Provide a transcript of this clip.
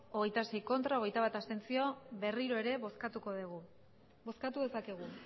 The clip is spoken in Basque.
hogeita sei ez hogeita bat abstentzio berriro ere bozkatuko dugu bozkatu dezakegu